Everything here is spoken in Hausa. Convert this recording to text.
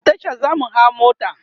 a Tasha zamu hau mota